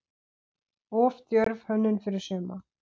Of djörf hönnun fyrir suma?